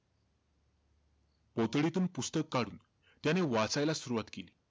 पोतडीतून पुस्तक काढून त्याने वाचायला सुरवात केली.